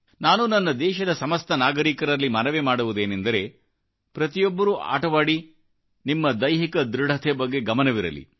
ನಾನು ನನ್ನ ದೇಶದ ಸಮಸ್ತ ನಾಗರಿಕರಲ್ಲಿ ಮನವಿ ಮಾಡುವುದೇನೆಂದರೆ ಪ್ರತಿಯೊಬ್ಬರೂ ಆಟವಾಡಿ ಆದರೆ ನಿಮ್ಮ ದೈಹಿಕ ದೃಢತೆ ಬಗ್ಗೆಗಮನವಿರಲಿ